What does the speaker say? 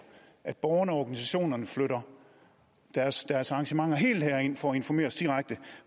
at borgerne og organisationerne flytter deres deres arrangementer helt herind for at informere os direkte